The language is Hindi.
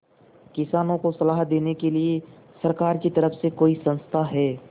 किसानों को सलाह देने के लिए सरकार की तरफ से कोई संस्था है